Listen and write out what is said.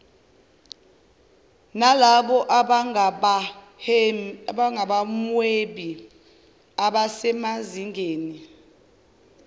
nalabo abangabahwebi abasemazingeni